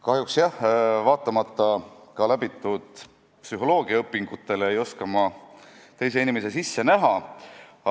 Kahjuks, jah, ka vaatamata läbitud psühholoogiaõpingutele ei oska ma teise inimese sisse näha.